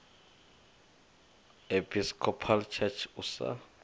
episcopal church usa